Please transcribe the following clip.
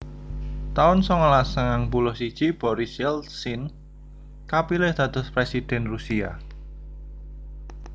taun songolas sangang puluh siji Boris Yeltsin kapilih dados Presiden Rusia